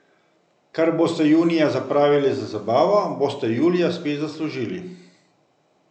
Kar boste junija zapravili za zabavo, boste julija spet zaslužili.